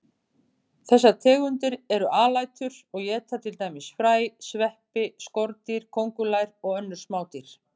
Þessar tegundir eru alætur og éta til dæmis fræ, sveppi, skordýr, kóngulær og önnur smádýr.